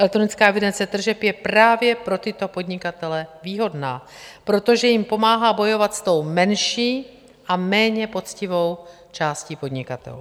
Elektronická evidence tržeb je právě pro tyto podnikatele výhodná, protože jim pomáhá bojovat s tou menší a méně poctivou částí podnikatelů.